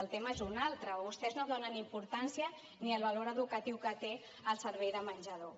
el tema és un altre vostès no donen importància ni al valor educatiu que té el servei de menjador